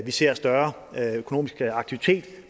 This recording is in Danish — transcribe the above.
vi ser større økonomisk aktivitet